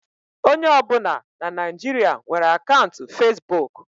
Onye ọbụna na Naịjirịa nwere akaụntụ fesbụụk.